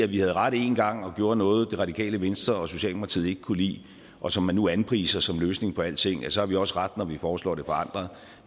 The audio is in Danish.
vi havde ret én gang og gjorde noget som det radikale venstre og socialdemokratiet ikke kunne lide og som man nu anpriser som løsningen på alting så har vi også ret når vi foreslår det forandret